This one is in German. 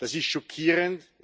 Das ist schockierend.